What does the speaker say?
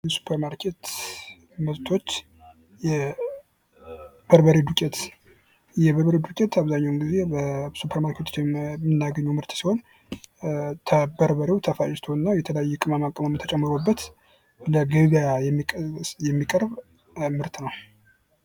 የሱፐር ማርኬት ምርቶች የበርበሬ ዱቄት፦ የበርበሬ ዱቄት አብዛኛውን ጊዜ በሱፐር ማርኬት ውስጥ የምናገኘው ምርት ሲሆን በርበሬው ተፈጭቶ እና የተለያየ ቅመማ ቅመም ተጨምሮበት ለገበያ የሚቀርብ ምርት ነው።